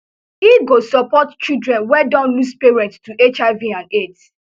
e go support children wey don lose parents to hiv and aids